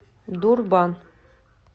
дурбан